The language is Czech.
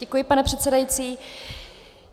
Děkuji, pane předsedající.